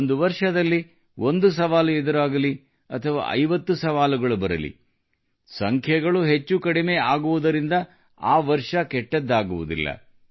ಒಂದು ವರ್ಷದಲ್ಲಿ ಒಂದು ಸವಾಲು ಎದುರಾಗಲಿ ಅಥವಾ 50 ಸವಾಲುಗಳು ಬರಲಿ ಸಂಖ್ಯೆಗಳು ಹೆಚ್ಚು ಕಡಿಮೆ ಆಗುವುದರಿಂದ ಆ ವರ್ಷವು ಕೆಟ್ಟದ್ದಾಗುವುದಿಲ್ಲ